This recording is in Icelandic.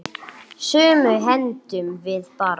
Sumu hendum við bara.